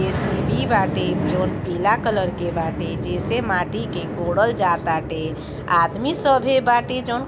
JCB बाटे जउन पीला कलर के बाटे जैसे माटी के कोड़ल जा ताटे आदमी सभे बाटे जॉन --